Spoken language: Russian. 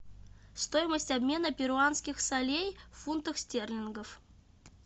стоимость обмена перуанских солей в фунтах стерлингов